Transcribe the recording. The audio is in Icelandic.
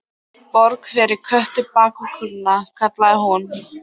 Borg fyrir Kötu bakvið kerruna! kallaði hún.